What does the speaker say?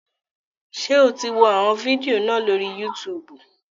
Ṣé o ti wọ àwọn fídíò náà lórí Yútùùbù?